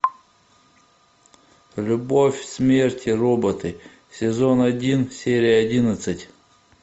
любовь смерть и роботы сезон один серия одиннадцать